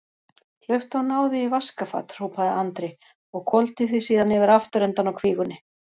Hlauptu og náðu í vaskafat, hrópaði Andri og hvolfdi því síðan yfir afturendann á kvígunni.